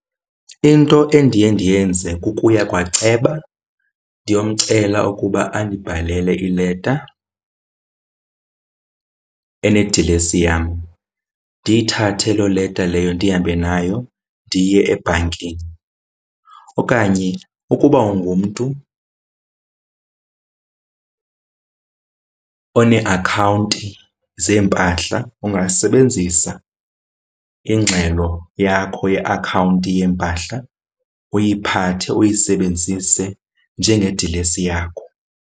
Into endiye ndiyenze kukuya kwaceba ndiyomcela ukuba andibhalele ileta enedilesi yam. Ndiyithathe loo leta leyo ndihambe nayo ndiye ebhankini okanye ukuba ungumntu oneeakhawunti zeempahla ungasebenzisa ingxelo yakho yeakhawunti yeempahla, uyiphathe uyisebenzise njengedilesi yakho.